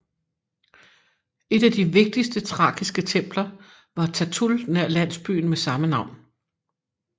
Et af de vigtigste thrakiske templer var Tatul nær landsbyen med samme navn